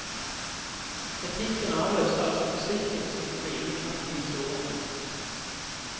Etikken avløste altså fysikken som den drivende kraft i historien.